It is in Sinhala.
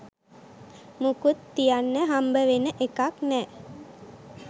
මුකුත් තියන්න හම්බෙන එකක් නෑ.